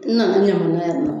N nana n ye mun na yan nɔ.